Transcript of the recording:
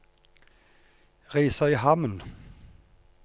Risøyhamn